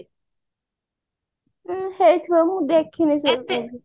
ହୁଁ ହେଇଥିବ ମୁଁ ଦେଖିନାହି ସେଇ movie